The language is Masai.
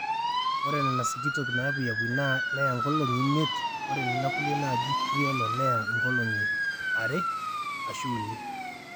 ore nena sikitok nepuyiapuy neya nkolong'i imiet ore nena kulie naaji criollo neya nkolong'i 2 ashu uni